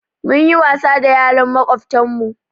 Mun yi wasa da yaran makwabtan mu